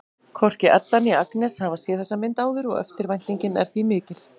Hvorki Edda né Agnes hafa séð þessa mynd áður og eftirvæntingin er því mikill.